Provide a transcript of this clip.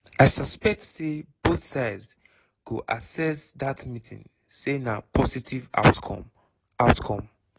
i suspect say both sides go assess dat meeting say na positive outcome. outcome.